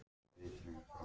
Hvað er sannleikur?